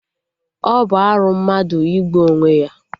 Ọ bụ arụ mmadụ igbu onwe ya?